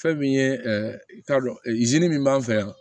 Fɛn min ye i k'a dɔn min b'an fɛ yan